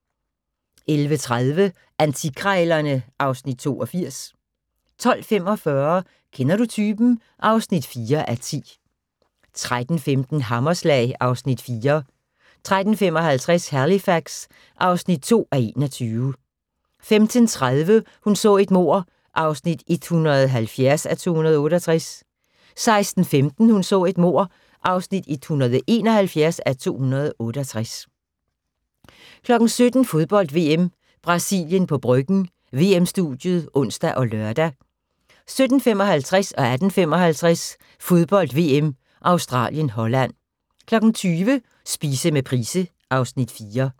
11:30: Antikkrejlerne (Afs. 82) 12:45: Kender du typen? (4:10) 13:15: Hammerslag (Afs. 4) 13:55: Halifax (2:21) 15:30: Hun så et mord (170:268) 16:15: Hun så et mord (171:268) 17:00: Fodbold: VM - Brasilien på Bryggen – VM-studiet (ons og lør) 17:55: Fodbold: VM - Australien-Holland 18:55: Fodbold: VM - Australien-Holland 20:00: Spise med Price (Afs. 4)